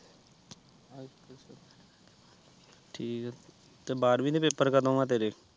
ਠੀਕ ਆ ਤੇ ਬਾਰਵੀਂ ਦੇ ਪੇਪਰ ਕਦੋ ਆ ਤੇਰੇ